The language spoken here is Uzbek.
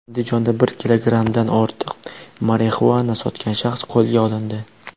Andijonda bir kilogrammdan ortiq marixuana sotgan shaxs qo‘lga olindi.